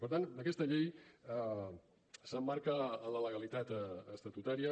per tant aquesta llei s’emmarca en la legalitat estatutària